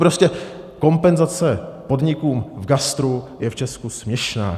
Prostě kompenzace podnikům v gastru je v Česku směšná.